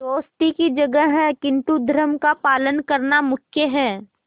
दोस्ती की जगह है किंतु धर्म का पालन करना मुख्य है